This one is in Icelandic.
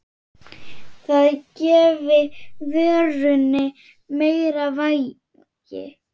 Það gefi vörunni meira vægi.